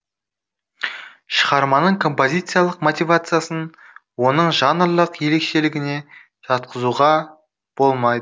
шығарманың компазициялық мотивациясын оның жанрлық ерекшелігіне жатқызуға болмайды